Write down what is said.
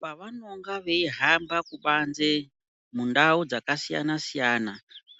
Pavanonga veihambe kubanze mundau dzakasiyana siyana,